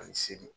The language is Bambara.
Ani seli